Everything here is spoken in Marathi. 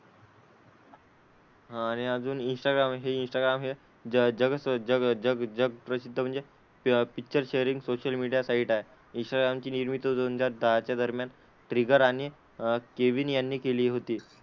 हां आणि अजून इंस्टाग्राम हे इंस्टाग्राम हे ज जग जग जग जगप्रसिद्ध म्हणजे प picture sharing social media site आहे. इंस्टाग्रामची निर्मिती दोन हजार दहाच्या दरम्यान ट्रिगर आणि अह केविन यांनी केली होती.